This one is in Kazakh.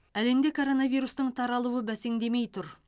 әлемде коронавирустың таралуы бәсеңдемей тұр